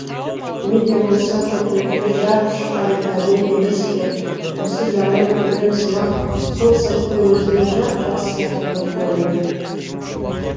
не де болса көкіректі жарып шыққан пәле емес пе осы жаман өлеңсымақ сол сәтте өзіме жап жақсы сияқты боп көрінді